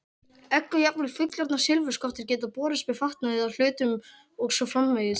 Egg og jafnvel fullorðnar silfurskottur geta borist með fatnaði eða hlutum og svo framvegis.